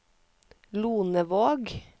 Lonevåg